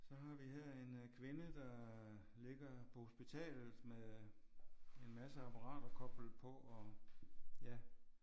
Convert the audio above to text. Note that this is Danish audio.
Så har vi her en øh kvinde der ligger på hospitalet med en masse apparater koblet på og ja